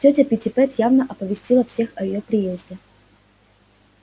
тётя питтипэт явно оповестила всех о её приезде